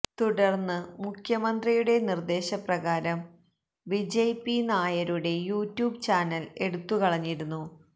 തുടർന്ന് മുഖ്യമന്ത്രിയുടെ നിർദേശ പ്രകാരം വിജയ് പി നായരുടെ യൂടൂബ് ചാനൽ എടുത്തു കളഞ്ഞിരുന്നു